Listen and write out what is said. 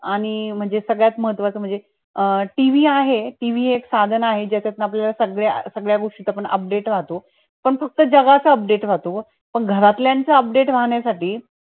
आणि म्हणजे सगळ्यत महत्वाचं म्हणजे अं tv आहे tv एक साधन आहे ज्याच्यात आपल्याला सगळ्या गोष्टी चा पण update राहतो पण फक्त जगाचा update राहतो पण घातल्याचा upadte राहण्या साठी